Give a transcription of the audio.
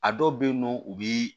A dɔw bɛ yen nɔ u bi